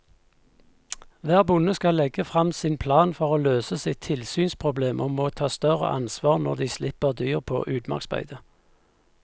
Hver bonde skal legge frem sin plan for å løse sitt tilsynsproblem og må ta større ansvar når de slipper dyr på utmarksbeite.